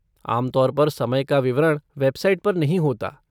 आम तौर पर समय का विवरण वेबसाइट पर नहीं होता।